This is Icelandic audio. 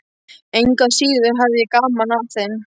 Engu að síður hafði ég gaman af þeim.